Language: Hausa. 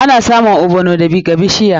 Ana samun ogbono daga bishiya.